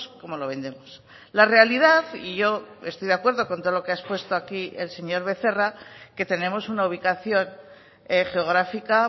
como lo vendemos la realidad y yo estoy de acuerdo con todo lo que ha expuesto aquí el señor becerra que tenemos una ubicación geográfica